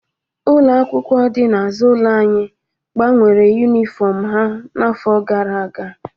Ụlọ akwụkwọ dị n'azụ ụlọ anyị gbanwere yunifọmụ ya n'afọ gara aga.